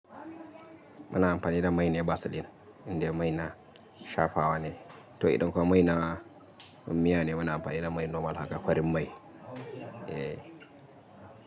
Muna amfani da mai ne Vaseline, inda mai na shafawa ne. To idan kuma mai na miya ne, muna amfani da mai normal haka farin mai.